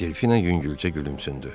Delfina yüngülcə gülümsündü.